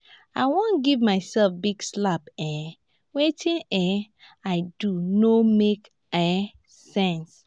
i wan give myself big slap um wetin um i do no make um sense